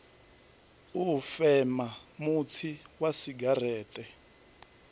u fema mutsi wa segereṱe